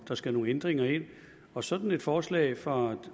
der skal nogle ændringer ind og sådan et forslag fra